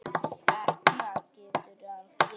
Etna getur átt við